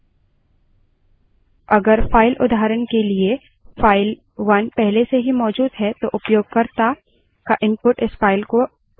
अब ctrl तथा d की दोनों को एक साथ press करें